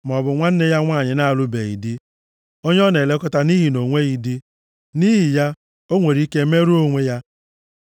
maọbụ nwanne ya nwanyị na-alụbeghị di, onye ọ na-elekọta nʼihi na o nweghị di. Nʼihi ya, o nwere ike merụọ onwe ya.